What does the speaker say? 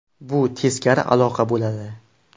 Bu teskari aloqa bo‘ladi.